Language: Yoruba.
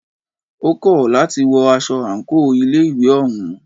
Ó kọ̀ láti wọ aṣọ àńkò ilé ìwé òún.